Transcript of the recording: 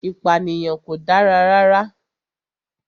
Ìpànìyàn kò dára rara